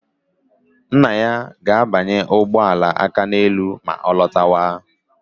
Nna ya ga-abanye ụgbọala Akaneelu ma ọ lọta